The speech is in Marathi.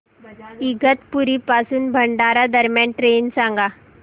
इगतपुरी पासून भंडारा दरम्यान ट्रेन सांगा